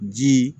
Ji